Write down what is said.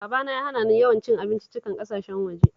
Babana ya hana ni yawan cin abinciccikan ƙasashen waje